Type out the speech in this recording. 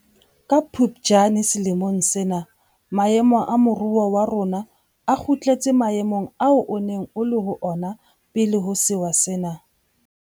Ka Phuptjane selemong sena maemo a moruo wa rona a kgutletse maemong ao o neng o le ho ona pele ho sewa sena.